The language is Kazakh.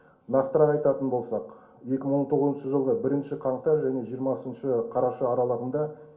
нақтырақ айтатын болсақ екі мың он тоғызыншы жылғы бірінші қаңтар және жиырмасыншы қараша аралығында